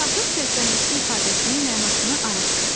İlaxır çərşənbəsi ifadəsinin mənasını araşdır.